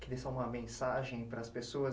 Queria só uma mensagem para as pessoas.